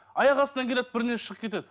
аяқастынан келеді бірдеңесі шығып кетеді